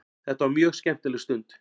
Þetta var mjög skemmtileg stund.